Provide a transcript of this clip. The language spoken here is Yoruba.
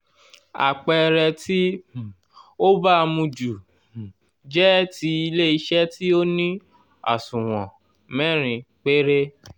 àpẹẹrẹ tí um ó baamu ju um jẹ́ ti ilé-iṣẹ́ tí ó ní àsùnwọ̀n mẹ́rin péré